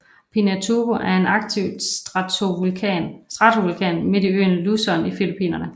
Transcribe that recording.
Pinatubo er en aktiv stratovulkan midt på øen Luzon i Filippinerne